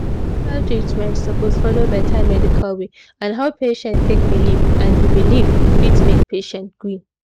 hospital treatment suppose follow better medical way and how patient take believe and the belief fit make patient gree